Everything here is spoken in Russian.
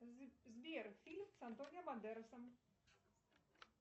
сбер фильм с антонио бандерасом